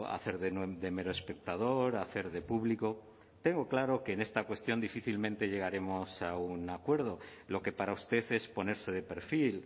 hacer de mero espectador hacer de público tengo claro que en esta cuestión difícilmente llegaremos a un acuerdo lo que para usted es ponerse de perfil